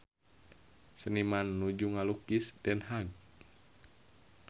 Seniman nuju ngalukis Den Haag